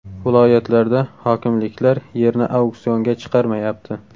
Viloyatlarda hokimliklar yerni auksionga chiqarmayapti.